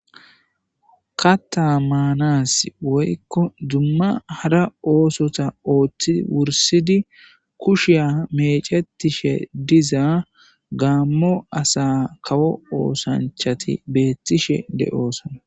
Kaththa maanasi woykko dumma hara oosota oothidi wurssidi kushiya meecetishe diza gaamo asa kawo oosanchati beetishe de7oosona.